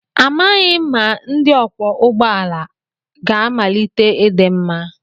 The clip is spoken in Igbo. Amaghị m ma ndi ọkwọ ụgbọ ala ga-amalite ịdị mma.